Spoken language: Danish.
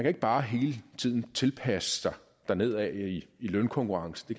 ikke bare hele tiden tilpasse sig dernedad i lønkonkurrencen